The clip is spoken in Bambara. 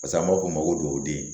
pase an b'a f'o ma ko duwawuden